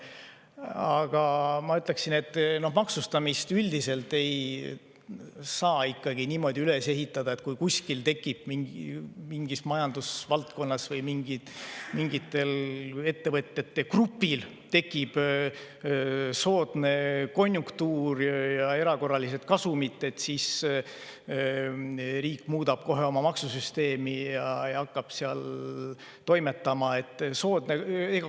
Aga ma ütleksin, et maksustamist üldiselt ei saa ikkagi niimoodi üles ehitada, et kui mingis majandusvaldkonnas või mingil ettevõtete grupil tekib soodne konjunktuur ja erakorraline kasum, siis riik muudab kohe oma maksusüsteemi ja hakkab seal toimetama.